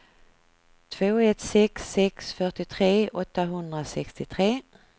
två ett sex sex fyrtiotre åttahundrasextiotre